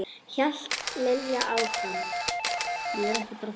hélt Lilla áfram.